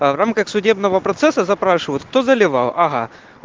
в рамках судебного процесса запрашивает кто заливал ага